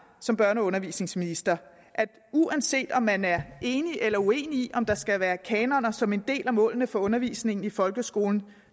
som børne og undervisningsminister at uanset om man er enig eller uenig i om der skal være kanoner som en del af målene for undervisningen i folkeskolen